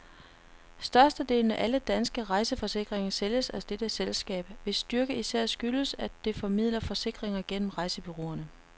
Størstedelen af alle danske rejseforsikringer sælges af dette selskab, hvis styrke især skyldes, at det formidler forsikringer gennem rejsebureauerne.